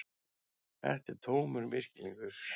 Þetta er tómur misskilningur.